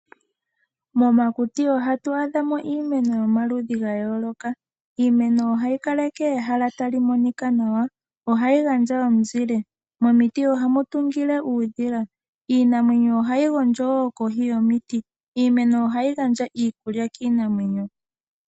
Momakuti ohatu adhamo iimeno yomaludhi ga yooloka, iimeno ohayi kaleke ehala tali monika nawa. Ohayi gandja ominzile, momiti ohamu tungile uudhila. Iinamwenyo ohayi gondjo woo kohi yomiti. Iimeno ohayi gandja iikulya kiinamwenyo.